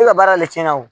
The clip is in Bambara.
E ka baara de tiɲɛna wo